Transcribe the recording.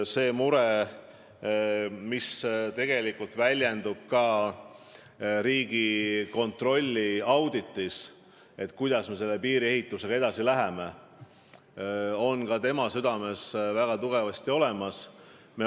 See mure, mis väljendub ka Riigikontrolli auditis – kuidas me piiriehitusega ikkagi edasi läheme –, on ka tema südames väga tugevasti olemas.